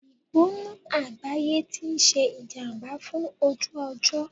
Ìgbóná àgbáyé ti ń ṣe ìjàmbá fún ojú ọjọ́.